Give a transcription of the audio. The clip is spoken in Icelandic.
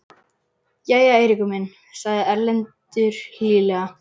Jæja, Eiríkur minn, sagði Erlendur hlýlega.